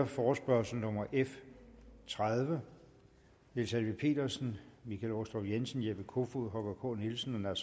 forespørgsel nummer f tredive niels helveg petersen michael aastrup jensen jeppe kofod holger k nielsen og